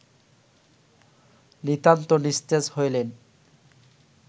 নিতান্ত নিস্তেজ হইলেন